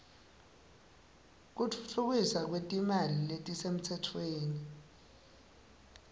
kutfutfukiswa kwetilwimi letisemtsetfweni